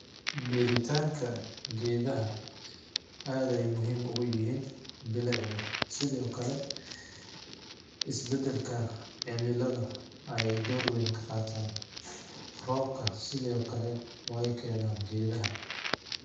Beeritanga Geetha aad Aya muhim ugu yahin bilectha setha oo Kali, isbadalka cemilatha ay door weyn kaQataan roobka sethe oo Kali waykenan geethaha .